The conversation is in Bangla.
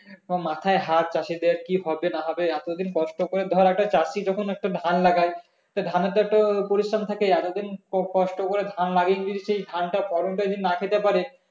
সব মাথায় হাত চাষীদের যে কি হবে না হবে এতদিন কষ্ট করে ধর একটা চাষী যখন একটা ধান লাগায় তো ধানে তো একটা পরিশ্রম থাকে এতদিন কষ্ট করে ধান লাগিয়া যদি সেই ধনটা ফলনটাই যদি না খেতে পারে